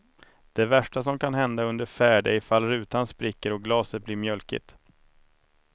Det värsta som kan hända under färd är ifall rutan spricker och glaset blir mjölkigt.